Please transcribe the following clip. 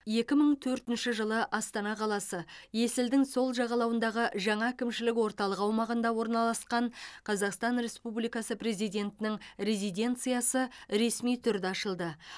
екі мың төртінші жылы астана қаласы есілдің сол жағалауындағы жаңа әкімшілік орталығы аумағында орналасқан қазақстан республикасы президентінің резиденциясы ресми түрде ашылды